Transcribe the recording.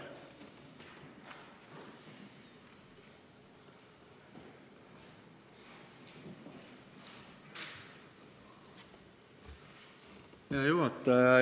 Hea juhataja!